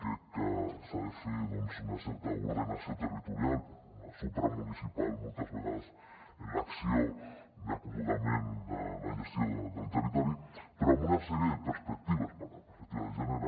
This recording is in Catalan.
crec que s’ha de fer una certa ordenació territorial supramunicipal moltes vegades en l’acció d’acomodament de la gestió del territori però amb una sèrie de perspectives per exemple es parlava de la perspectiva de gènere